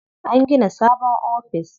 An gina sabon office.